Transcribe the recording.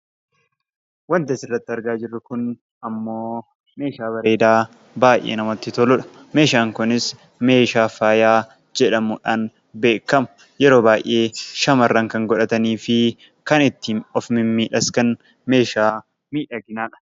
Waanti asirratti argaa jirru Kun immoo, meeshaa bareedaa baayyee namatti toludha. Meeshaan Kunis meeshaa faayaa jedhamuudhaan beekama. Yeroo baayyee shamaarran kan godhatanii fi kan ittiin of mimmiidhagsan, meeshaa miidhaginaadha.